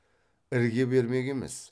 ірге бермек емес